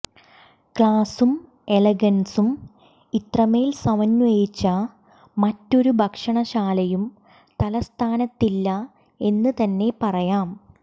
ക്ലാസും എലഗൻസും ഇത്രമേൽ സമന്വയിച്ച മറ്റൊരു ഭക്ഷണശാലയും തലസ്ഥാനത്തില്ല എന്ന് തന്നെ പറയാം